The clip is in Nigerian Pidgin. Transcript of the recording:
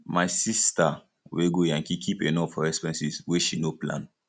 my sista wey go yankee keep enough for expenses wey she no plan